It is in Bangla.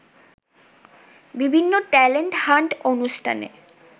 বিভিন্ন ট্যালেন্ট হান্ট অনুষ্ঠানে